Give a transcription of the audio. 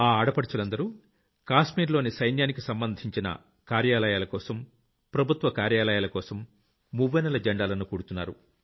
ఆ ఆడపడుచులందరూ కాశ్మీర్ లోని సైన్యానికి సంబంధించిన కార్యాలయాలకోసం ప్రభుత్వ కార్యాలయాలకోసం మువ్వన్నెల జెండాలను కుడుతున్నారు